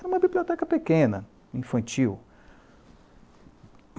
Era uma biblioteca pequena, infantil.